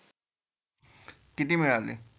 किती मिळाले?